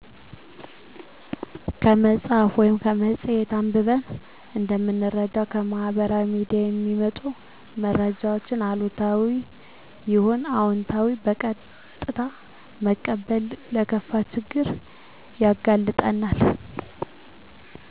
ከመፅሀፍ ወይም ከመፅሔት አንብበን እንደምንረዳው ከማህበራዊ ሚዲያ የሚመጡ መረጃወችን አሉታዊም ይሁን አወንታዊ በቀጥታ መቀበል ለከፋ ችግር ያጋልጠናል።